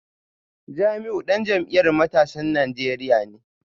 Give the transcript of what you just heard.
Jamiu dan jam’iyyar matasan Najeriya ne